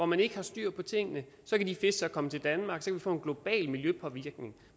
man ikke har styr på tingene så kan de fisk komme til danmark kan vi få en global miljøpåvirkning